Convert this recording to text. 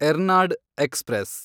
Ernad express